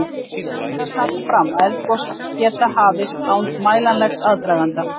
Þó ber að taka fram að eldgos geta hafist án mælanlegs aðdraganda.